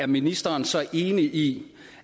ministeren så er enig i